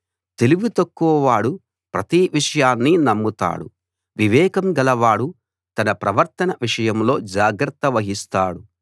తెలివితక్కువవాడు ప్రతి విషయాన్నీ నమ్ముతాడు వివేకం గలవాడు తన ప్రవర్తన విషయంలో జాగ్రత్త వహిస్తాడు